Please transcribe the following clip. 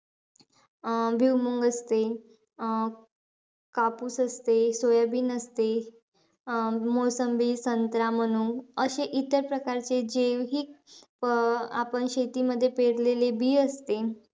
अं भुईमुंग असते, अं कापूस असते, सोयाबिन असते. अं मोसंबी, संत्रा म्हणून, असे इतर प्रकारचे जे ही, अं आपण शेतीमध्ये पेरलेले बी असते,